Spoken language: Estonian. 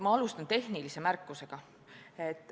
Ma alustan tehnilise märkusega.